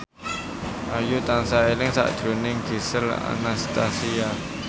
Ayu tansah eling sakjroning Gisel Anastasia